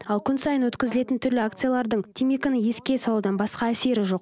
ал күн сайын өткізілетін түрлі акциялардың темекіні еске салудан басқа әсері жоқ